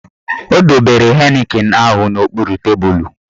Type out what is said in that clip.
Ọ dobere Heineken ahụ n'okpuru tebulu